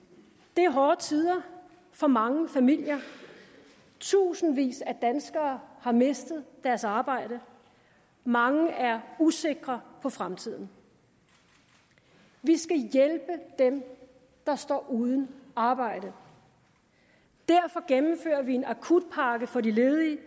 det er hårde tider for mange familier tusindvis af danskere har mistet deres arbejde mange er usikre på fremtiden vi skal hjælpe dem der står uden arbejde derfor gennemfører vi en akutpakke for de ledige